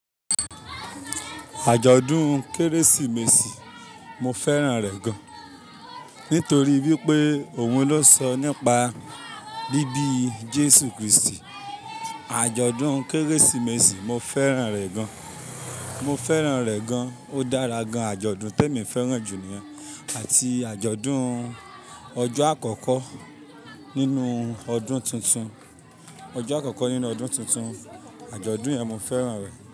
Àjọ̀dún Kérésìmesì mo fẹ́ràn rẹ̀ gan, nítorí wípé òun ló sọ nípa bíbí Jésù Kristi. Àjọ̀dún Kérésìmesì mo fẹ́ràn rẹ̀ gan. Mo fẹ́ràn rẹ̀ gan, ó dára gan. Àjọ̀dún te mi fẹ́ràn jù niyen ati àjọ̀dún ọjọ́ àkọ́kọ́ nínú ọdún tuntun. Ọjọ́ àkọ́kọ́ nínú ọdún tuntun, àjọ̀dún yẹn mo fẹ́ràn rẹ̀